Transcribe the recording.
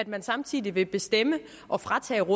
man samtidig vil bestemme og fratage